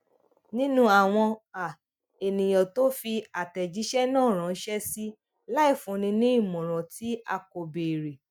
nínú awọn um eniyan to fi atẹjiṣẹ náà ranṣẹ si láì fúnni ní ìmọràn tí a kò béèrè